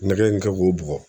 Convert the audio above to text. Nɛgɛ in kɛ k'o bugɔ